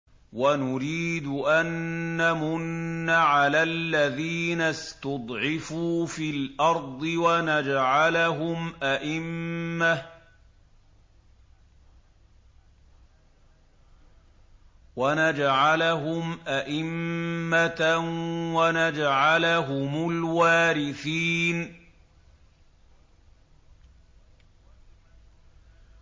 وَنُرِيدُ أَن نَّمُنَّ عَلَى الَّذِينَ اسْتُضْعِفُوا فِي الْأَرْضِ وَنَجْعَلَهُمْ أَئِمَّةً وَنَجْعَلَهُمُ الْوَارِثِينَ